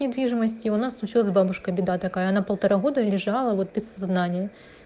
недвижимости у нас ещё за бабушкой беда такая на полтора года лежала вот и сознания